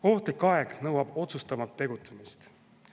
Ohtlik aeg nõuab otsustavamat tegutsemist.